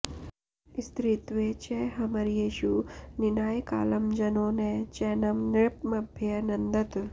स्त्रीत्वे च हर्म्येषु निनाय कालं जनो न चैनं नृपमभ्यनन्दत्